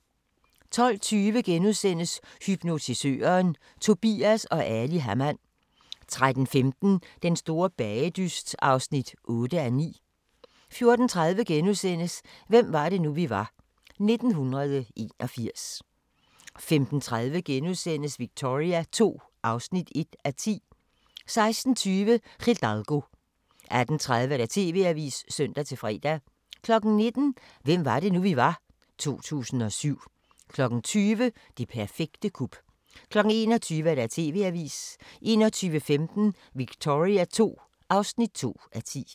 12:20: Hypnotisøren – Tobias & Ali Hamann * 13:15: Den store bagedyst (8:9) 14:30: Hvem var det nu, vi var – 1981 * 15:30: Victoria II (1:10)* 16:20: Hidalgo 18:30: TV-avisen (søn-fre) 19:00: Hvem var det nu, vi var? - 2007 20:00: Det perfekte kup 21:00: TV-avisen 21:15: Victoria II (2:10)